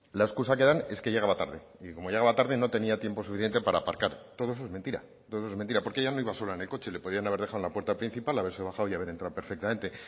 la excusa que dan es que llegaba tarde y como llegaba tarde no tenía tiempo suficiente para aparcar todo eso es mentira porque ella no iba sola en el coche le podían haber dejado en la puerta principal haberse bajado y haber entrado perfectamente